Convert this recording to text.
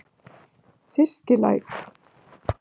Fiskilæk